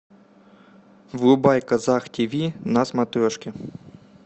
врубай казах тв на смотрешке